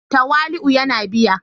Tawali'u yana biya